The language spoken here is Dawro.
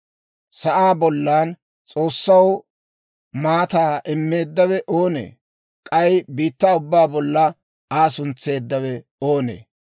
Sa'aa bollan S'oossaw maataa immeeddawe oonee? K'ay biittaa ubbaa bolla Aa suntseeddawe oonee?